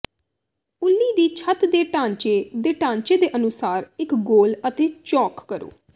ਉੱਲੀ ਦੀ ਛੱਤ ਦੇ ਢਾਂਚੇ ਦੇ ਢਾਂਚੇ ਦੇ ਅਨੁਸਾਰ ਇਕ ਗੋਲ ਅਤੇ ਚੌਕ ਕਰੋ